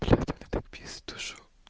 я тогда так пиздошу